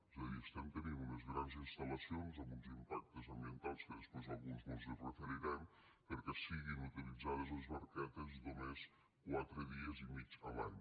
és a dir estem tenint unes grans instal·lacions amb uns impactes ambientals que després alguns mos hi referirem perquè siguin utilitzades les barquetes només quatre dies i mig l’any